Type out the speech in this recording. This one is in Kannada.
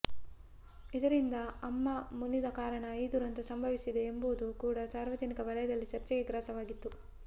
ಇದರಿಂದ ಅಮ್ಮ ಮುನಿದ ಕಾರಣ ಈ ದುರಂತ ಸಂಭವಿಸಿತೆ ಎಂಬುದು ಕೂಡ ಸಾರ್ವಜನಿಕ ವಲಯದಲ್ಲಿ ಚರ್ಚೆಗೆ ಗ್ರಾಸವಾಗಿತ್ತು